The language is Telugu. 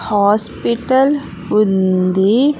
హాస్పిటల్ ఉంది.